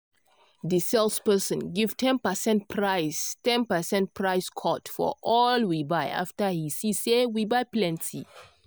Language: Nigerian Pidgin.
di sales person give ten percent price ten percent price cut for all we buy after he see say we buy plenty.